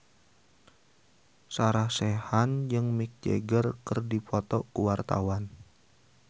Sarah Sechan jeung Mick Jagger keur dipoto ku wartawan